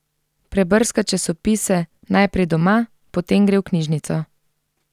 Prebrska časopise, najprej doma, potem gre v knjižnico.